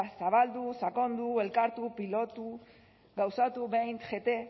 zabaldu sakondu elkartu pilotu gauzatu beint